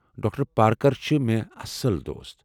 Doctor Parker چھ مےٚ اصٕل دوست ۔